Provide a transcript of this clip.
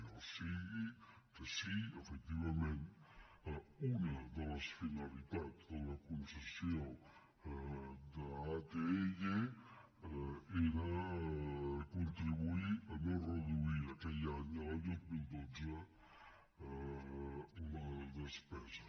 o sigui que sí efectivament una de les finalitats de la concessió d’atll era contribuir a no reduir aquell any l’any dos mil dotze la despesa